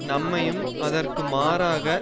நன்மையும் அதற்கு மாறாக